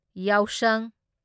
ꯌꯥꯎꯁꯪ